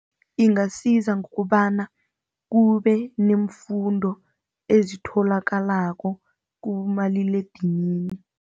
Ingasiza ngokobana kube neemfundo ezitholakalako kubomaliledinini.